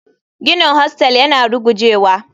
Ginin hostel yana rugujewa.